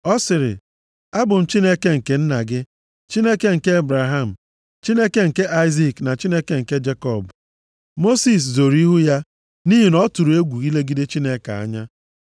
Ọ sịrị, “Abụ m Chineke nke nna gị. Chineke nke Ebraham, Chineke nke Aịzik na Chineke nke Jekọb.” Mosis zoro ihu ya, nʼihi na ọ tụrụ egwu ilegide Chineke anya.